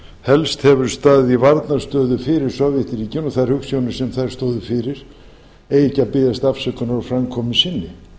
helst hefur staðið í varnarstöðu fyrir sovétríkin og þær hugsjónir sem þau stóðu fyrir eigi ekki að biðjast afsökunar á framkomu sinni